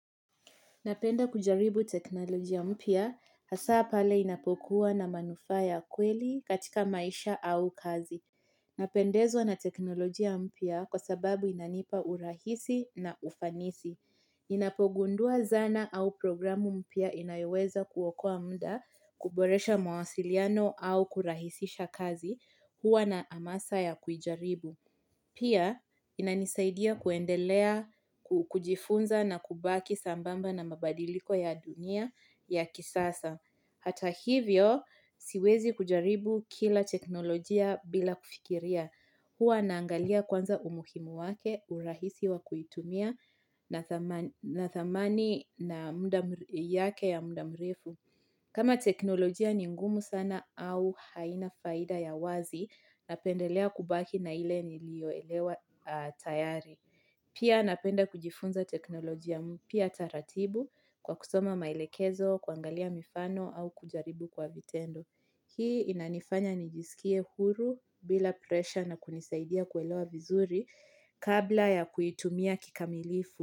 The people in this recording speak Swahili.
Napenda kujaribu teknolojia mpya hasa pale inapokuwa na manufaa kweli katika maisha au kazi. Napendezwa na teknolojia mpya kwa sababu inanipa urahisi na ufanisi. Inapogundua zana au programu mpya inayoweza kuokoa muda kuboresha mawasiliano au kurahisisha kazi huwa na amasa ya kujaribu. Pia, inanisaidia kuendelea, kujifunza na kubaki sambamba na mabadiliko ya dunia ya kisasa. Hata hivyo, siwezi kujaribu kila teknolojia bila kufikiria. Huwa naangalia kwanza umuhimu wake, urahisi wa kuitumia na thamani na muda mrefu. Kama teknolojia ni ngumu sana au haina faida ya wazi, napendelea kubaki na ile nilioelewa tayari. Pia napenda kujifunza teknolojia mpya taratibu kwa kusoma maelekezo, kuangalia mifano au kujaribu kwa vitendo. Hii inanifanya nijisikie huru bila presha na kunisaidia kuelewa vizuri kabla ya kuitumia kikamilifu.